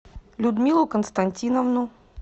людмилу константиновну